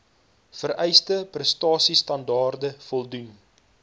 vereiste prestasiestandaarde voldoen